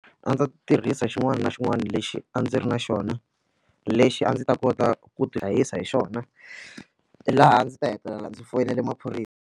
A ni tirhisa xin'wana na xin'wana lexi a ndzi ri na xona lexi a ndzi ta kota ku tihlayisa hi xona laha ndzi ta hetelela ndzi foyinela .